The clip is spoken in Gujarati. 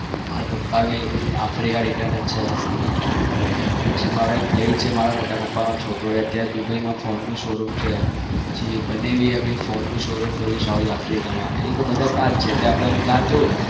મારા પપ્પા પણ africa return પછી મારો ભાઈ છે મોટા પપ્પા નો છોકરો અત્યારે phone નું શો રૂમ કર્યું છે પછી બનેવી એ phone નું શો રૂમ કર્યું છે south africa માં એવી રેતે બધા ત્યાં જ છે તો હું ત્યાં જાઉં